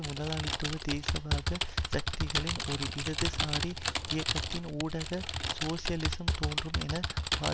முதலாளித்துவ தேசியவாத சக்திகளின் ஒரு இடதுசாரி இயக்கத்தின் ஊடாக சோசியலிசம் தோன்றும் என வா